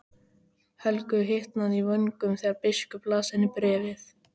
Helgu hitnaði í vöngum þegar biskup las henni bréfið.